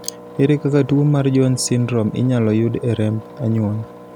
ere kaka tuo mar Jones syndrome inyalo yud e remb anyuola